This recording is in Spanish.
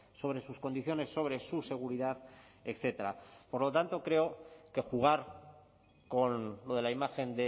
sobre sus condiciones sobre su seguridad etcétera por lo tanto creo que jugar con lo de la imagen